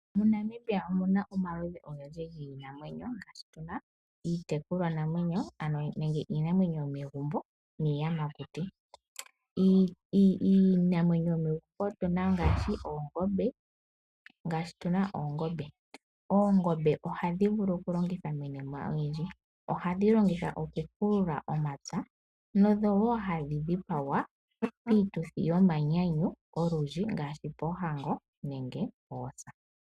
MoNamibia omu na omaludhi ogendji giinamwenyo yindji, ngaashi tuna iitekulwa namwenyo, ano iinamwenyo yomegumbo niiyamakuti. Iinamwenyo yomegumbo otu na ngaashi oongombe, ndhoka hadhi vulu okulongithwa miinima oyindji. Ohadhi vulu okupula omapya, dho ohadhi dhipagwa piituthi yomanyanyu olundji, ngaashi poohango nenge poosa.